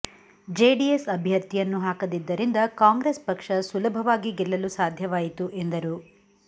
JDS ಅಭ್ಯರ್ಥಿಯನ್ನು ಹಾಕದಿದ್ದರಿಂದ Congress ಪಕ್ಷ ಸುಲಭವಾಗಿ ಗೆಲ್ಲಲು ಸಾಧ್ಯವಾಯಿತು ಎಂದರು